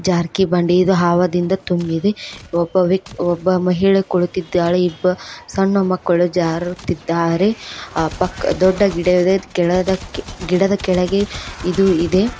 ಜಾರ್ಕಿಬಂಡಿ ಇದು ಹಾವದಿಂದ ತುಂಬಿದೆ ಒಬ್ಬ ವ್ಯಕ್ ಒಬ್ಬ ಮಹಿಳೆ ಕುಳತಿದ್ದಾಳೆ ಇಬ್ಬ ಸಣ್ಣ ಮಕ್ಕಳು ಜಾರುತ್ತಿದ್ದಾರೆ ಅ ಪಕ್ಕ ದೊಡ್ಡ ಗಿಡ ಇದೆ ಇದ್ ಕೇಳದ ಗಿಡದ ಕೆಳಗೆ ಇದು ಇದೆ.